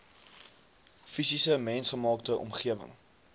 fisiese mensgemaakte omgewing